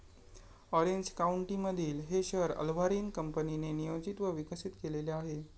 Orange काउंटीमधील हे शहर अर्व्हाइन कंपनीने नियोजित व विकसित केलेले आहे.